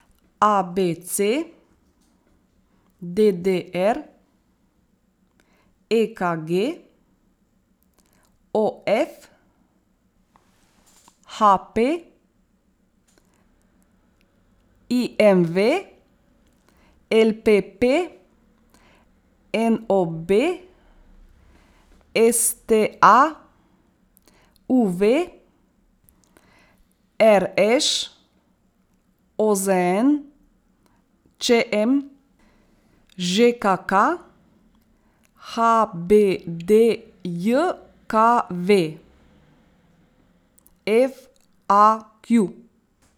A B C; D D R; E K G; O F; H P; I M V; L P P; N O B; S T A; U V; R Š; O Z N; Č M; Ž K K; H B D J K V; F A Q.